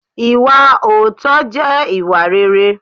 Ìwà òótọ́ jẹ́ ìwà réré.